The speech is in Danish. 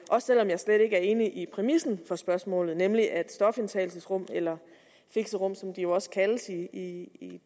selv om jeg slet ikke er enig i præmissen for spørgsmålet nemlig at stofindtagelsesrum eller fixerum som de jo også kaldes i